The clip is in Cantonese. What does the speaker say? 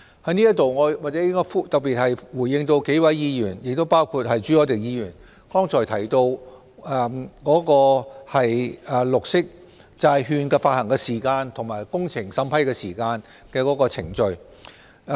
在此，我先回應幾位議員，包括朱凱廸議員剛才提到綠色債券發行的時間，以及工程審批的時間和有關程序。